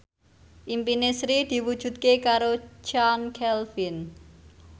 impine Sri diwujudke karo Chand Kelvin